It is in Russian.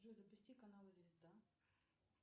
джой запусти канал звезда